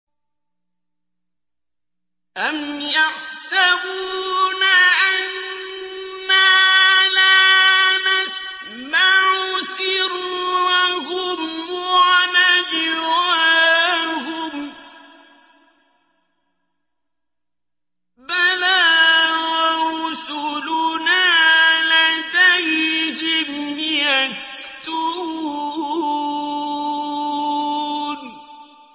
أَمْ يَحْسَبُونَ أَنَّا لَا نَسْمَعُ سِرَّهُمْ وَنَجْوَاهُم ۚ بَلَىٰ وَرُسُلُنَا لَدَيْهِمْ يَكْتُبُونَ